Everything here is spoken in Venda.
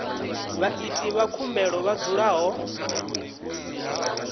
vhaiti vha khumbelo vha dzulaho